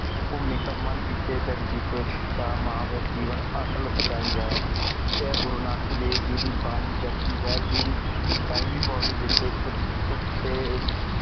ਭੂਮੀ ਕਾ ਮਨ ਜਿਤੇ ਜਗ ਜਿਤੇ ਤਾ ਜੀਵਨ ਅਟੱਲ ਸੱਚਾਈ ਆ। ਏ ਗੁਰੂਨਾਨਕ ਦੇਵ ਜੀ ਦੀ ਬਾਨੀ ਜਾਵ੍ਜੀ ਸਾਹਿਬ ਜੀ ਦੀ ਸਤਾਈ ਵੀ ਪੋੜੀ ਵਿਚ ਇਕ ਤੇ ਅਹ ਊ